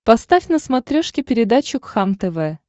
поставь на смотрешке передачу кхлм тв